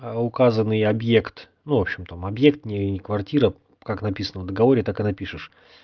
а указанный объект ну в общем там объект не квартира как написано в договоре так и напишешь